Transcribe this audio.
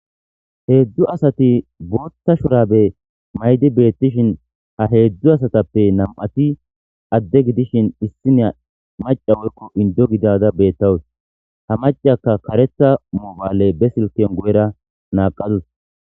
Hezzu asati bootha shuraabe mayidi betishin ha heezu asatappe nam7ati .adde gidishin issiniya macca woykko inddo gidada beetawus. Ha maccciyakka kareththa moobbale be kiisiyan guyera naaqadus.